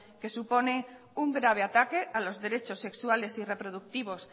que supone un grave ataque a los derechos sexuales y reproductivos